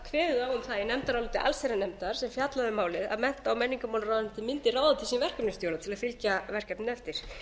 það í nefndaráliti allsherjarnefndar sem fjallaði um málið að mennta og menningarmálaráðuneytið mundi ráða til sín verkefnisstjóra til að fylgja verkefninu eftir